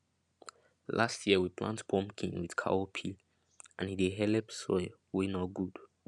last year we plant pumpkin with cowpea and e dey helep soil wey nor good